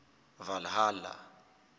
valhalla